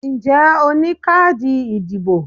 Ǹjẹ́ o ní káàdì ìdìbò?